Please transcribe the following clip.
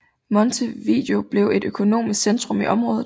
Montevideo blev et økonomisk centrum i området